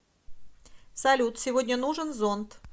салют сегодня нужен зонт